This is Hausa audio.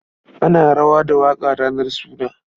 Ana rawa da waƙa ranar suna.